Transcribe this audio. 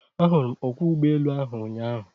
Ahụrụ m ọkwọ ụgbọelu ahụ ụnyaahụ.